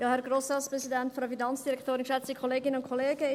Kommissionssprecherin der FiKo-Minderheit.